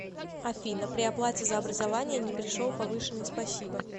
афина при оплате за образование не пришел повышенный спасибо